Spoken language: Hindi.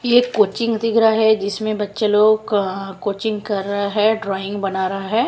ये कोचिंग दिख रहा है जिसमें बच्चे लोग अह कोचिंग कर रहा है ड्राइंग बना रहा है।